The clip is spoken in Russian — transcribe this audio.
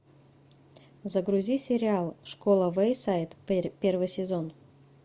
загрузи сериал школа вэйсайд первый сезон